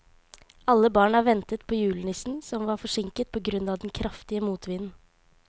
Alle barna ventet på julenissen, som var forsinket på grunn av den kraftige motvinden.